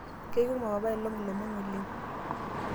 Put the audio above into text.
kekumok apailong ilomon oleng'